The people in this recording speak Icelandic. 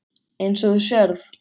Eins og þú sérð.